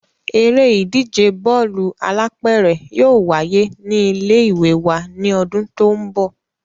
Eré ìdíje Bọ́ọ̀lù alápẹ̀rẹ̀ yóò wáyé ní ilé ìwé wa ní ọdún tó ń bọ̀